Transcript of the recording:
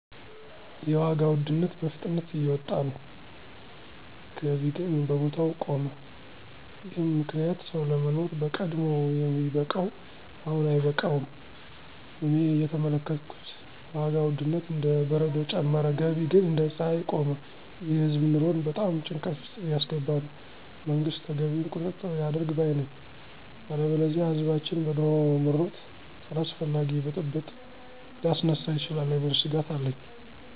የዋጋ ውድነት በፍጥነት እየወጣ ነው፣ ገቢ ግን በቦታው ቆመ፤ ይህም ምክንያት ሰው ለማኖር በቀድሞ የሚበቃው አሁን አይበቃም። እኔ እየተመለከትኩት ዋጋ ውድነት እንደ በረዶ ጨመረ፣ ገቢ ግን እንደ ፀሐይ ቆመ። ይህ የህዝብ ኑሮን በጣም ጭንቀት ውስጥ እያስገባ ነው። መንግስት ተገቢውን ቁጥጥር ያድርግ ባይ ነኝ። ያለበለዚያ ህዝባችን በኑሮ ምሮት አላስፈላጊ ብጥብጥ ሊያስነሳ ይችላል የሚል ስጋት አለኝ።